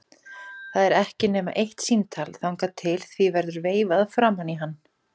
Það er ekki nema eitt símtal þangað til því verður veifað framan í hann.